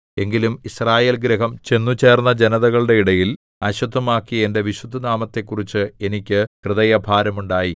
എങ്കിലും യിസ്രായേൽഗൃഹം ചെന്നുചേർന്ന ജനതകളുടെ ഇടയിൽ അശുദ്ധമാക്കിയ എന്റെ വിശുദ്ധനാമത്തെക്കുറിച്ച് എനിക്ക് ഹൃദയഭാരം ഉണ്ടായി